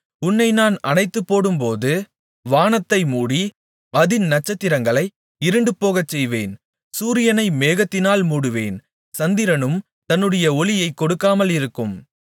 உன்னை நான் அணைத்துப்போடும்போது வானத்தை மூடி அதின் நட்சத்திரங்களை இருண்டு போகச்செய்வேன் சூரியனை மேகத்தினால் மூடுவேன் சந்திரனும் தன்னுடைய ஒளியைக் கொடுக்காமல் இருக்கும்